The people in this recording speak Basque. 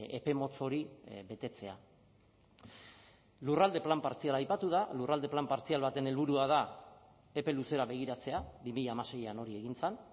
epe motz hori betetzea lurralde plan partziala aipatu da lurralde plan partzial baten helburua da epe luzera begiratzea bi mila hamaseian hori egin zen